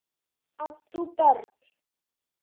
Átt þú börn?